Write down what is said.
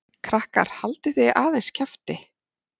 Krakkar, haldið þið aðeins kjafti!